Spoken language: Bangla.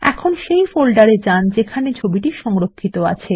এখন সেই ফোল্ডারে যান যেখানে ছবিটি সংরক্ষিত আছে